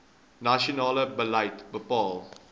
nasionale beleid bepaal